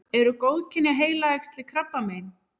eru góðkynja heilaæxli krabbamein